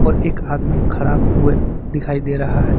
एक आदमी खड़ा हुए दिखाई दे रहा है।